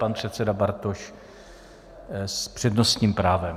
Pan předseda Bartoš s přednostním právem.